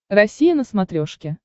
россия на смотрешке